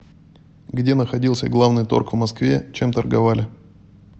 где находился главный торг в москве чем торговали